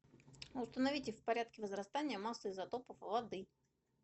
установите в порядке возрастания массы изотопов воды